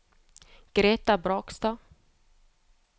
Gretha Brakstad